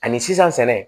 Ani sisan sɛnɛ